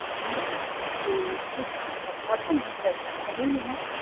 இல்லீங் sir அப்படி whats your name உங்க name என்ன?